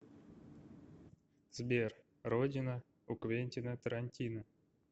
сбер родина у квентина тарантино